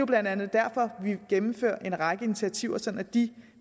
blandt andet derfor vi gennemfører en række initiativer sådan at de